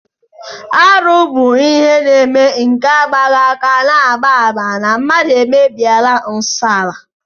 Arụ bụ ihe na-eme nke agbaghị aka na-agba àmà na mmadụ emebiela nsọ ala